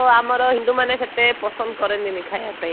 ଆଉ ଆମର ହିନ୍ଦୁ ମାନେ ସେତେ ପସନ୍ଦ କରନ୍ତି ନାହିଁ ଖାଇବା ପାଇଁ